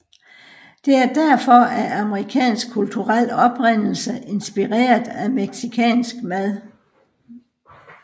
Det er derfor af amerikansk kulturel oprindelse inspireret af mexicansk mad